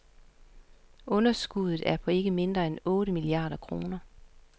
Underskuddet er på ikke mindre end otte milliarder kroner.